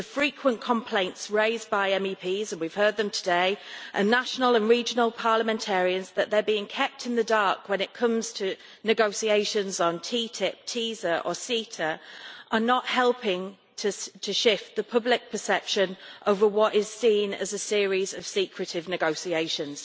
The frequent complaints raised by MEPs and we have heard them today and national and regional parliamentarians, that they are being kept in the dark when it comes to negotiations on TTIP, TISA or CETA, are not helping to shift the public perception over what is seen as a series of secretive negotiations.